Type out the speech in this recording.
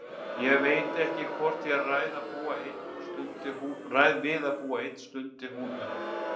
Ég veit ekki hvort ég ræð við að búa ein, stundi hún upp.